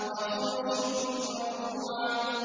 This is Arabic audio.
وَفُرُشٍ مَّرْفُوعَةٍ